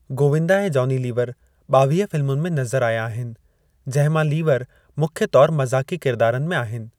गोविंदा ऐं जॉनी लीवर ॿावीह फ़िल्मुनि में नज़रु आया आहिनि, जंहिं मां लीवर मुख्य तौरु मज़ाक़ी किरदारनि में आहिनि।